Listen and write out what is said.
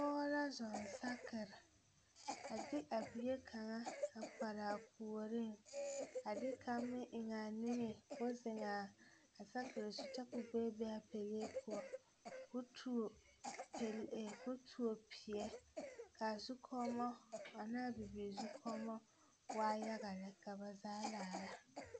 Pɔge la zɔŋ saakere a de a bie kaŋa a kpare a puoriŋ a de kaŋ meŋ a eŋ a niŋe k,o zeŋ a saakere zu kyɛ k,o bebe a pelee poɔ k,o tuo pelee k,o tuo peɛ k,a zukɔmɔ ane a bibirii zukɔmɔ waa yaga lɛ ka ba zaa laara.